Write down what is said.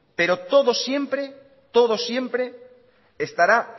pero todo siempre todo siempre estará